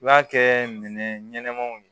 I b'a kɛ minɛ ɲɛnɛmaw ye